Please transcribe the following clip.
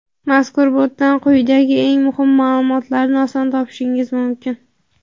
Mazkur botdan quyidagi eng muhim maʼlumotlarni oson topishingiz mumkin.